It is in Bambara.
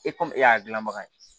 e y'a gilanbaga ye